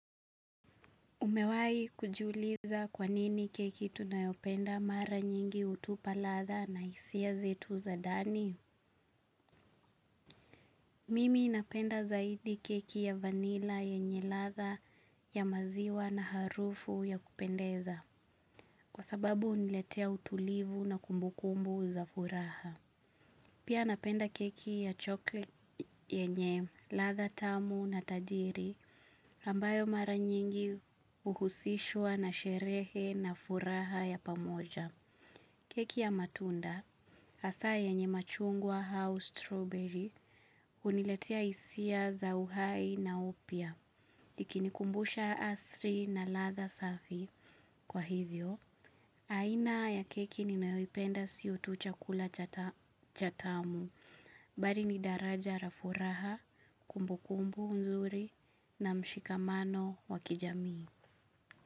Umewai kujiuliza kwa nini keki tunayopenda mara nyingi hutupa ladha na hisia zetu za ndani? Mimi napenda zaidi keki ya vanilla yenye ladha ya maziwa na harufu ya kupendeza kwa sababu huniletea utulivu na kumbukumbu za furaha. Pia napenda keki ya chocolate yenye ladha tamu na tajiri ambayo mara nyingi huhusishwa na sherehe na furaha ya pamoja. Keki ya matunda, hasa yenye machungwa au strawberry, huniletea hisia za uhai na upya, ikinikumbusha asili na ladha safi. Kwa hivyo, aina ya keki ninayoipenda sio tu chakula chatamu, bali ni daraja la furaha, kumbukumbu mzuri na mshikamano wa kijamii.